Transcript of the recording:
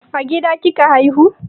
A gida kika haihu?